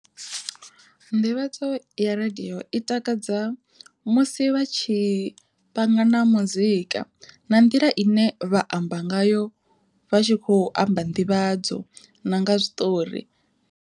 Nḓivhadzo ya radiyo i takadza musi vha tshi panga na muzika, na nḓila ine vha amba ngayo vha tshi kho amba nḓivhadzo na nga zwiṱori.